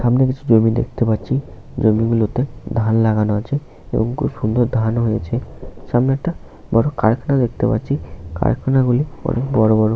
সামনে কিছু জমি দেখতে পাচ্ছি জমিগুলোতে ধান লাগানো আছে এবং খুব সুন্দর ধান হয়েছে সামনে একটা কারখানা দেখতে পাচ্ছি কারখানা গুলি বড় বড়।